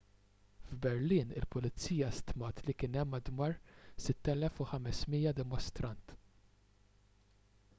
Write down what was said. f'berlin il-pulizija stmat li kien hemm madwar 6,500 dimostrant